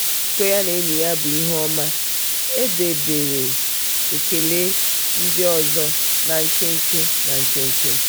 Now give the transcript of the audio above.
njikọ ya na enyi ya bụ ihe obiọma; e debere ekele ndị ọzọ na nkenke. na nkenke.